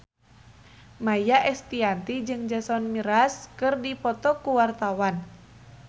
Maia Estianty jeung Jason Mraz keur dipoto ku wartawan